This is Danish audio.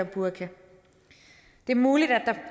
burka det er muligt